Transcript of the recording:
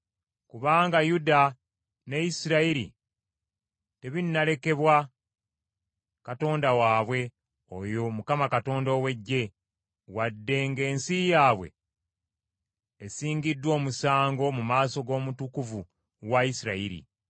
Kubanga Yuda ne Isirayiri tebinnalekebwa Katonda waabwe, oyo Mukama Katonda ow’Eggye, wadde ng’ensi yaabwe esingiddwa omusango mu maaso g’Omutukuvu wa Isirayiri.